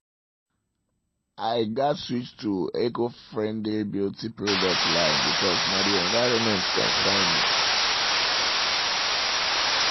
i gats switch to eco-friendly beauty products line b'cause na the environment concern me